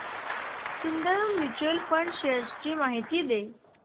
Sundaram mutual fund shares ची माहिती दे